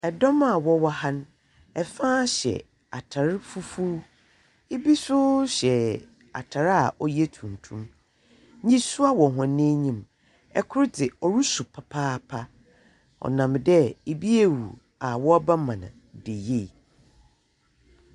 Dɔm a wɔwɔ ha no, fa hyɛ atar fufuw. Ibi nso hyɛ atar a ɔyɛ tuntum. Nisuwa wɔ hɔn enyim. Kor dze, ɔrusu papaapa ɔnam dɛ obi awu a wɔrebɛma no da yie.